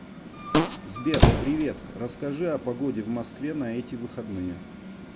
сбер привет расскажи о погоде в москве на эти выходные